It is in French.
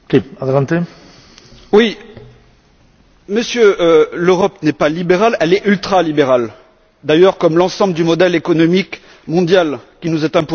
Monsieur, l'Europe n'est pas libérale, elle est ultralibérale, d'ailleurs comme l'ensemble du modèle économique mondial qui nous est imposé par le système anglo saxon.